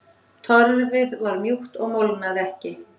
Torfið var mjúkt og molnaði ekki.